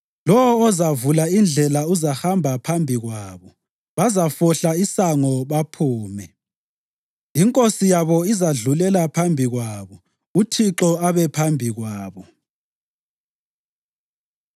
Lowo ozavula indlela uzahamba phambi kwabo; bazafohla isango baphume. Inkosi yabo izadlulela phambi kwabo, uThixo abe phambi kwabo.”